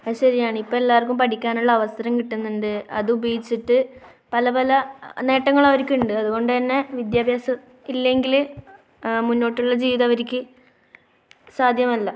അത് ശരിയാണ്. ഇപ്പോൾ എല്ലാവർക്കും പഠിക്കാനുള്ള അവസരം കിട്ടുന്നുണ്ട്. അതുപയോഗിച്ചിട്ട് പല പല നേട്ടങ്ങൾ അവർക്കുണ്ട്. അതുകൊണ്ടുതന്നെ വിദ്യാഭ്യാസം ഇല്ലെങ്കിൽ മുന്നോട്ടുള്ള ജീവിതം അവർക്ക് സാധ്യമല്ല.